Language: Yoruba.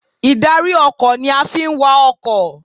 Ìdarí ọkọ̀ ni a fi ń wa ọkọ̀.